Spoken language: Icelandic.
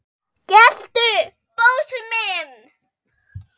geltu, Bósi minn!